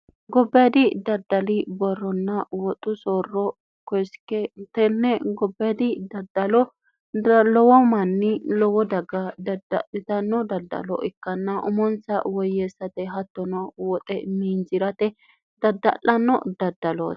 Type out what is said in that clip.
gobbeedi daddali borronna woxu soorro kesiketenne gobbeedi daddalo lowo manni lowo daga daddalitanno daddalo ikkanna umonsa woyyeessate hattono woxe miinjirate dadda'lanno daddalooe